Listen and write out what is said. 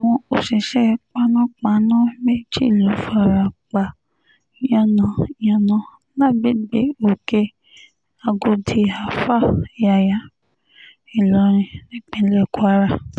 àwọn òṣìṣẹ́ panápaná méjì ló fara pa yànnà-yànnà lágbègbè òkè-àgọ́dì alfa yàyà ìlorin nípínlẹ̀ kwara